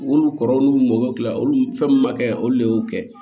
Olu kɔrɔ olu mago bɛ dilan olu fɛn min ma kɛ olu le y'o kɛ